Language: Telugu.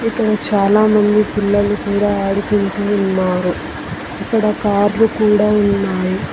ఇక్కడ చాలా మంది పిల్లలు కూడ ఆడుకుంటూ ఉన్నారు ఇక్కడ కార్లు కూడ ఉన్నాయి.